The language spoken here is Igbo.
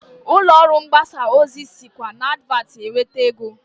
Ụlọọrụ mgbasa ozi sikwa n'advatị enweta ego